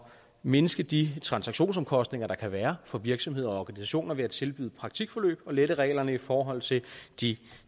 mindske de transaktionsomkostninger der kan være for virksomheder og organisationer ved at tilbyde praktikforløb og lette reglerne i forhold til de